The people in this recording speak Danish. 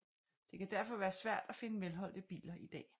Det kan derfor være svært at finde velholdte biler i dag